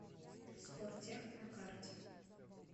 спортех на карте